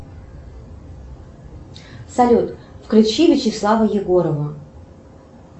салют включи вячеслава егорова